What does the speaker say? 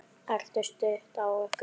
Er stuð á ykkur?